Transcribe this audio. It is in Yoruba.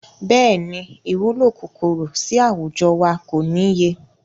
Bẹ́ẹ̀ni, ìwúlò kòkòrò sì àwùjọ wa kò níye.